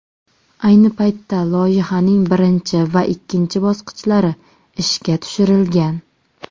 Ayni paytda loyihaning birinchi va ikkinchi bosqichlari ishga tushirilgan.